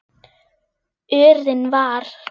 urinn var.